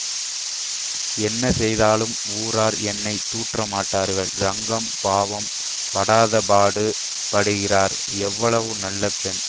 என்ன செய்தாலும் ஊரார் என்னை தூற்றமாட்டார்கள் ரங்கம் பாவம் படாதபாடு படுகிறாள் எவ்வளவு நல்ல பெண்